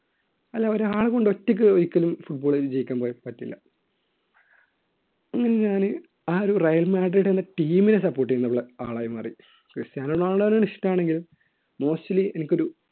അല്ല ഒരാളെ കൊണ്ട് ഒറ്റയ്ക്ക് ഒരിക്കലും football കളി ജയിക്കാൻ പറ്റില്ല അങ്ങനെ ഞാന് ആ ഒരു റയൽ മാഡ്രിഡ് എന്ന team നെ support ചെയ്യുന്ന ആളായി മാറി ക്രിസ്റ്റ്യാനോ റൊണാൾഡോ ആണ് ഇഷ്ടം ആണെങ്കിലും mostly എനിക്കൊരു